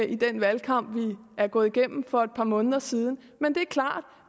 i den valgkamp vi er gået igennem for et par måneder siden men det er klart